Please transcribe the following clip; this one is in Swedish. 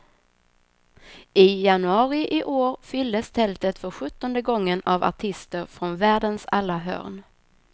I januari i år fylldes tältet för sjuttonde gången av artister från världens alla hörn.